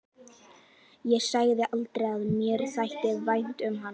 Ég sagði aldrei að mér þætti vænt um hann.